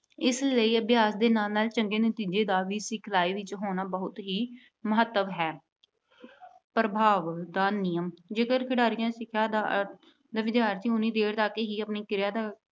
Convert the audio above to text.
ਇਸ ਲਈ ਅਭਿਆਸ ਦੇ ਨਾਲ ਨਾਲ ਚੰਗੇ ਨਤੀਜੇ ਦਾ ਵੀ ਸਿਖਲਾਈ ਵਿੱਚ ਹੋਣਾ, ਬਹੁਤ ਹੀ ਮਹੱਤਵ ਹੈ। ਪ੍ਰਭਾਵ ਦਾ ਨਿਯਮ, ਜੇਕਰ ਖਿਡਾਰੀ ਸਿੱਖਿਆ ਦਾ ਜਾਂ ਵਿਦਿਆਰਥੀ ਓਨੀ ਦੇਰ ਤੱਕ ਹੀ ਆਪਣੀ ਕਿਰਿਆ ਦਾ